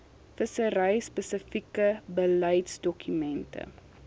vissery spesifieke beleidsdokumente